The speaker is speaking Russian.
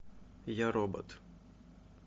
я робот